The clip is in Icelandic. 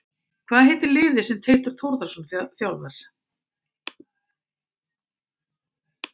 Hvað heitir liðið sem Teitur Þórðarson þjálfar?